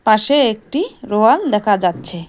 পাশে একটি রোয়াল দেখা যাচ্ছে।